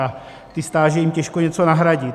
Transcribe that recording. A ty stáže jim těžko něco nahradí.